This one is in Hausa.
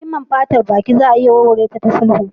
Rigimar fatar baki za a iya warware ta da sulhu.